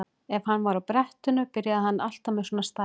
Ef hann var á brettinu byrjaði hann alltaf með svona stæla.